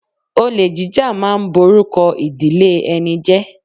Olè jíjà ma ń borúkọ ìdílé ẹni jẹ́